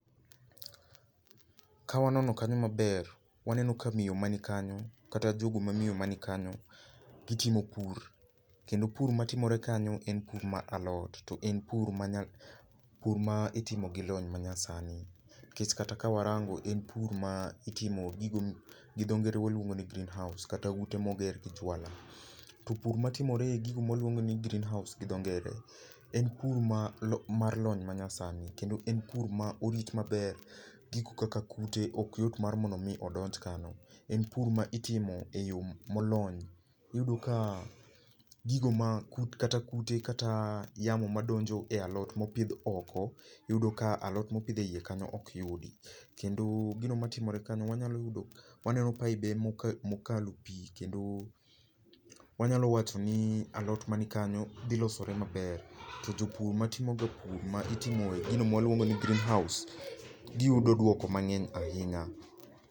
Ka wanono kanyo maber, waneno ka miyo man kanyo kata jogo mamiyo man kanyo gitimo pur, kendo pur matimore kanyo en pur mar alot. En pur ma pur ma itimo gi lony manyasani nikech kata ka warango en pur ma itimo gi gigo gidho ngere waluongo ni green house kata ute moger gi juala. To pur matimore e gigo mawaluongo ni green house gi dho ngere en pur mar lony manyasani kendo en pur ma orit maber gigo kaka kute ok yot mar mondo mi odonj kanyo en pur ma itimo eyo molony. Iyudo ka gigo kata kute madonjo e alot ma opidh oko, iyudo ka alot mopidh eiye kanyo ok yudi kendo gino matimore kanyo, wanyalo yudo waneno paibe mokalo pi kendo wanyalo wachoni alot man kanyo dhi losore maber to jopur matimoga pur ma itimo e gino ma waluongo ni greenhouse giyudo duoko mang'eny ahinya.